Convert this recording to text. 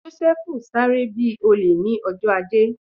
Joseph sáré bi olè ni ọjọ́ ajé